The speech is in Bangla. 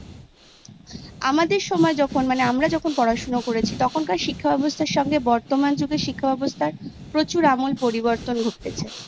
আমাদের সময় যখন মানে আমরা যখন পড়াশোনা করেছি তখনকার শিক্ষাব্যবস্থার সঙ্গে বর্তমান যুগের শিক্ষাব্যবস্থার প্রচুর আমূল পরিবর্তন ঘটেছে